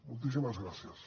moltíssimes gràcies